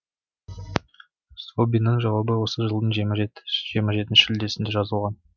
злобиннің жауабы осы жылдың жиырма жетісінде шілдесінде жазылған